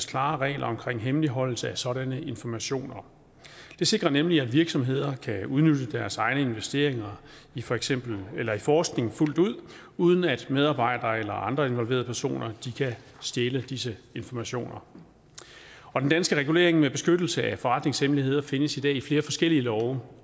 klare regler omkring hemmeligholdelse af sådanne informationer det sikrer nemlig at virksomheder kan udnytte deres egne investeringer i for eksempel forskning fuldt ud uden at medarbejdere eller andre involverede personer kan stjæle disse informationer og den danske regulering med beskyttelse af forretningshemmeligheder findes i dag i flere forskellige love